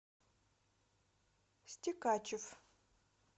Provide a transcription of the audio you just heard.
стекачев